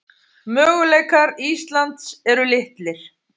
Möguleikar Íslands eru litlir